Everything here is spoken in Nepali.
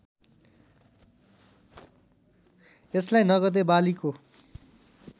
यसलाई नगदे बालीको